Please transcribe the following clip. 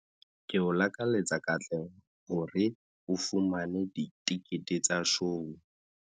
Ke o lakaletsa katleho hore o fumane ditekete tsa shou.